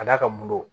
Ka d'a kan mori